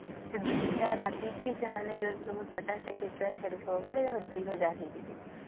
ସେ ଦୁଇ ଟା ରାତି ଥି ସେମାନେ ଯଦି ତମେ ୫୦ ଟା କେଞ୍ଚୁଆ ଛାଡିଥିବା ସେ ଦୁଇ ହଜାର ହେଇଯିବେ